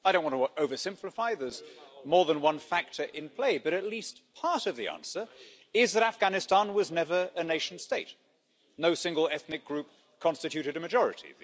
I don't want to over-simplify as there's more than one factor in play, but at least part of the answer is that Afghanistan was never a nation state. No single ethnic group constituted a majority.